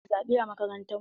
Ana zaɓe a makarantu.